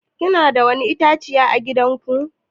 Kuna da ko wani itãciya à gidan ku?